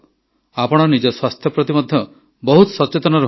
ଆପଣ ନିଜ ସ୍ୱାସ୍ଥ୍ୟ ପ୍ରତି ମଧ୍ୟ ବହୁତ ସଚେତନ ରୁହନ୍ତୁ